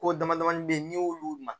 Ko damadamanin bɛ yen n'i y'olu dan